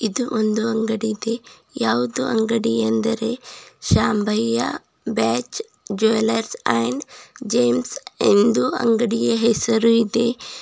ಇದು ಒಂದು ಅಂಗಡಿ ಇದೆ ಯಾವುದು ಅಂಗಡಿ ಎಂದರೆ Shambhayya batch jeweller and gems ಎಂದು ಅಂಗಡಿಗೆ ಹೆಸರು ಇದೆ.